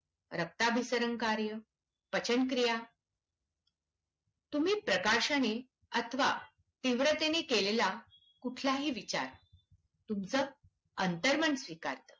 रक्ताभिसरण कार्य, पचनक्रिया, तुम्ही प्रकर्षाने अथवा तीव्रतेने केलेला कुठलाही विचार तुमचं अंतर्मन स्वीकारतं.